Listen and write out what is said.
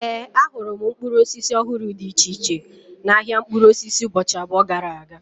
Ee, ahụrụ m mkpụrụ osisi ọhụrụ dị iche iche n'ahia mkpụrụ osisi ụbọchị abụọ gara aga